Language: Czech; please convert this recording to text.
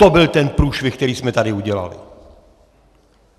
To byl ten průšvih, který jsme tady udělali!